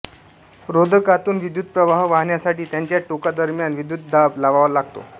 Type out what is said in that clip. रोधकातून विद्युतप्रवाह वाहवण्यासाठी त्याच्या टोकांदरम्यान विद्युतदाब लावावा लागतो